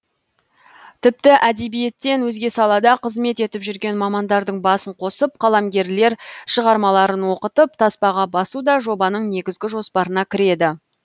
тіпті әдебиеттен өзге салада қызмет етіп жүрген мамандардың басын қосып қаламгерлер шығармаларын оқытып таспаға басу да жобаның негізгі жоспарына кіреді